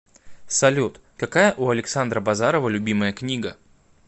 салют какая у александра базарова любимая книга